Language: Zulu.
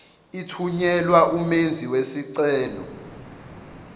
ithunyelwa umenzi wesicelo